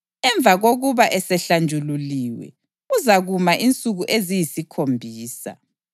Emva kokuba esehlanjululiwe, uzakuma insuku eziyisikhombisa.